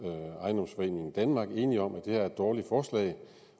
ejendomsforeningen danmark i enige om at det her er et dårligt forslag